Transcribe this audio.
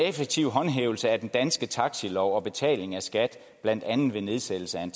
effektiv håndhævelse af den danske taxilov og betaling af skat blandt andet ved nedsættelse af en